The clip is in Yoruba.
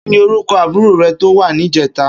Kini órúkò ábúrò rè tó wà nijètá?